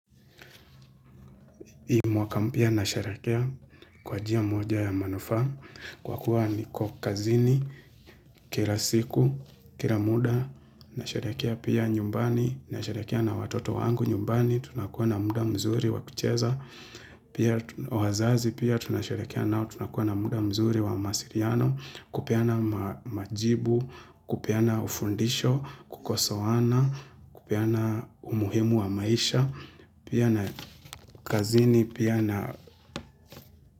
Hii mwaka pia nasherehekea kwa njia moja ya manufaa, kwa kuwa niko kazini, kila siku, kila muda, nasherehekea pia nyumbani, nasherehekea na watoto wangu nyumbani, tunakuwa na muda mzuri wa kucheza, pia kwa wazazi pia tunasherehekea nao tunakuwa na muda mzuri wa mawasiliano, kupeana majibu, kupeana ufundisho, kukosoana, kupeana umuhimu wa maisha, pia na kazini. Pia na.